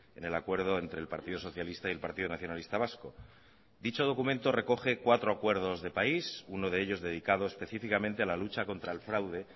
en el acuerdo entre el partido socialista y el partido nacionalista vasco dicho documento recoge cuatro acuerdos de país uno de ellos dedicado específicamente a la lucha contra el fraude